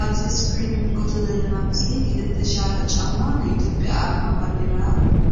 እዚ ኣብ እስክሪን ንምልከቶ ዘለና ምስሊ ክልተ ሻራ ጫማ ናይ ኢትዮፕያ ኣርማ ባንዴራ